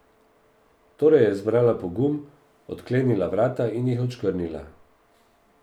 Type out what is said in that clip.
Torej je zbrala pogum, odklenila vrata in jih odškrnila.